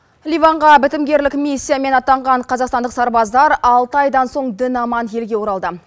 ливанға бітімгерлік миссиямен атанған қазақстандық сарбаздар алты айдан соң дін аман елге оралды